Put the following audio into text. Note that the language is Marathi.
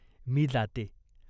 मी जाते.